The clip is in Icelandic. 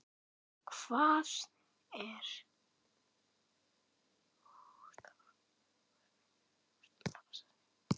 Hvað ef koma börn?